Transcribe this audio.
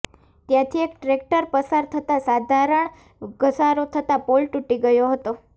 ત્યાંથી એક ટ્રેકટર પસાર થતાં સાધારણ ઘસારો થતાં પોલ તુટી ગયો હતો